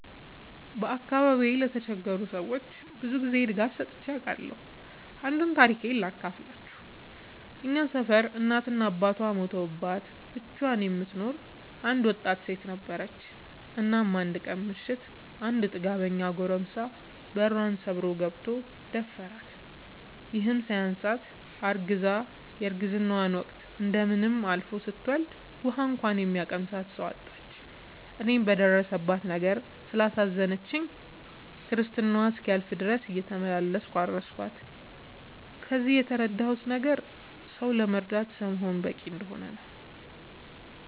በአካባቢዬ ለተቸገሩ ሰዎች ብዙ ጊዜ ድጋፍ ሰጥቼ አውቃለሁ። አንዱን ታሪኬን ሳካፍላችሁ እኛ ሰፈር እናት እና አባቷ ሞተውባት ብቻዋን የምትኖር አንድ ወጣት ሴት ነበረች። እናም አንድ ቀን ምሽት አንድ ጥጋበኛ ጎረምሳ በሯን ሰብሮ ገብቶ ደፈራት። ይህም ሳያንሳት አርግዛ የረግዝናዋ ወቅት እንደምንም አልፎ ስትወልድ ውሀ እንኳን የሚያቀምሳት ሰው አጣች። እኔም በደረሰባት ነገር ስላሳዘነችኝ ክርስትናዋ እስኪያልፍ ድረስ እየተመላለስኩ አረስኳት። ከዚህ የተረዳሁት ነገር ሰው ለመርዳት ሰው መሆን በቂ እንደሆነ ነው።